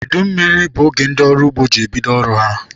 Udu mmiri bụ oge ndị ọrụ ugbo ji ebido ọrụ ha.